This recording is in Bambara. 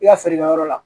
I ka feerekɛ yɔrɔ la